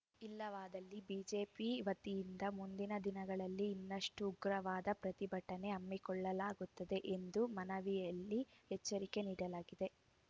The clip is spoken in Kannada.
ಇಲ್ಲವಾದಲ್ಲಿ ಬಿಜೆಪಿ ವತಿಯಿಂದ ಮುಂದಿನ ದಿನಗಳಲ್ಲಿ ಇನ್ನಷ್ಟುಉಗ್ರವಾದ ಪ್ರತಿಭಟನೆ ಹಮ್ಮಿಕೊಳ್ಳಲಾಗುತ್ತದೆ ಎಂದು ಮನವಿಯಲ್ಲಿ ಎಚ್ಚರಿಕೆ ನೀಡಲಾಗಿದೆ